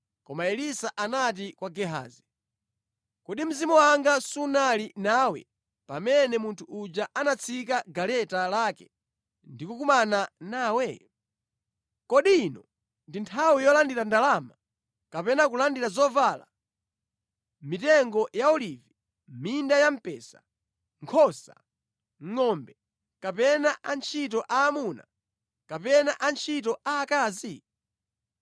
Koma Elisa anati kwa Gehazi, “Kodi mzimu wanga sunali nawe pamene munthu uja anatsika mʼgaleta lake ndi kukumana nawe? Kodi ino ndi nthawi yolandira ndalama, kapena kulandira zovala, mitengo ya olivi, minda ya mpesa, nkhosa, ngʼombe kapena antchito aamuna kapena antchito aakazi?